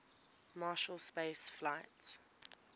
marshall space flight